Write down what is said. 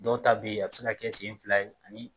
Dɔw ta beyi a bi se ka kɛ sen fila ye.